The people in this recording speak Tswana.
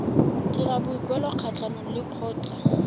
dira boikuelo kgatlhanong le lekgotlha